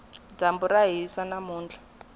dyambu ra hisa namuntlha